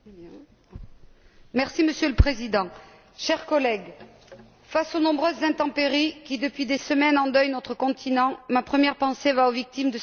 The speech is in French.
Monsieur le Président, chers collègues, face aux nombreuses intempéries qui, depuis des semaines, endeuillent notre continent, ma première pensée va aux victimes de ces drames et à leurs familles.